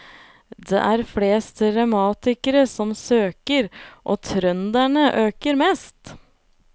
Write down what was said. Det er flest revmatikere som søker, og trønderne øker mest.